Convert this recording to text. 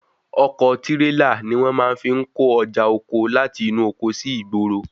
Ọkọ̀ tírélà ni wọ́n fi máa ń kó ọjà oko láti inú oko sí ìgboro.